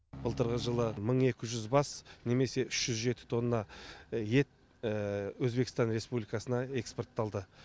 былтырғы жылы мың екі жүз бас немесе үш жүз жеті тонна ет өзбекстан республикасына экспортталды